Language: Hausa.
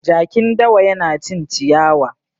Jakin dawa yana cin ciyawa.